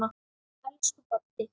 Elsku Baddi.